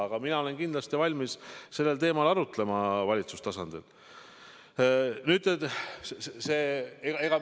Aga mina olen kindlasti valmis sellel teemal arutlema valitsuse tasandil.